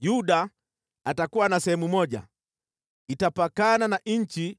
“Yuda atakuwa na sehemu moja, itapakana na nchi